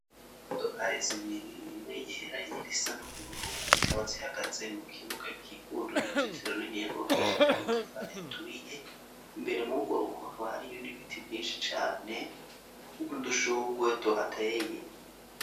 Imodokari zibiri imwe yera inyind'isa n'ubururu, zikaba zihagaze mu kibuga kikujwe n'uruzitiro runiniya rwubakishije amatafari aturiye ,imbere mw'ugwo rugo hakaba hariyo n'ibiti vyinshi cane n'udushugwe tuhateye.